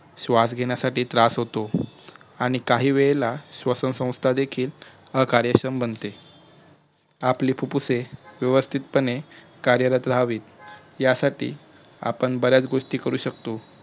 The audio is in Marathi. श्वासघेण्यासाठी त्रास होतो आणि काही वेळेला श्वसनसंस्था देखील अकार्यक्षम बनते आपली फुप्फुसे वेवस्थितपणे कार्यरत रहावेत यासाठी बऱ्याच गोष्टी करू शकतो